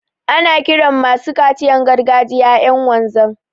Ana kiran masu kaciyan gargajiya ƴan wanzan.